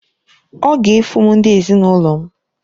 Ọ ga-efu m ndị ezinụlọ m.